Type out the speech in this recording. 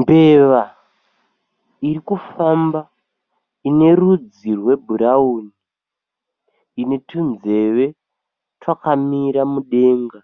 Mbeva iri kufamba ine rudzi rwebhurawuni ine tunzeve twakamira mudenga.